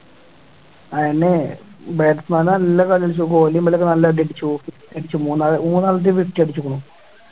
ആണല്ലേ batsman നല്ല കളി കളിച്ചു കോഹ്ലിയും ഒക്കെ നല്ല അടി അടിച്ചു മൂന്നാല് അഞ്ച് അടിച്ചേക്ക്ണു